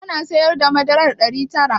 Kana siyar da madarar ɗari tara?